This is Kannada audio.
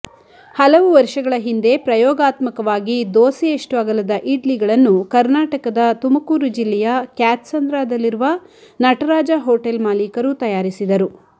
ಹಲವು ವರ್ಷಗಳ ಹಿಂದೆ ಪ್ರಯೋಗಾತ್ಮಕವಾಗಿ ದೋಸೆಯಷ್ಟು ಅಗಲದ ಇಡ್ಲಿಗಳನ್ನು ಕರ್ನಾಟಕದ ತುಮಕೂರು ಜಿಲ್ಲೆಯ ಕ್ಯಾತ್ಸಂದ್ರದಲ್ಲಿರುವ ನಟರಾಜ ಹೊಟೆಲ್ ಮಾಲೀಕರು ತಯಾರಿಸಿದರು